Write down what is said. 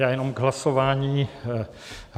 Já jenom k hlasování.